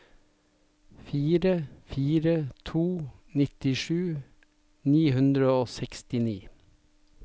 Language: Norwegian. fire fire fire to nittisju ni hundre og sekstini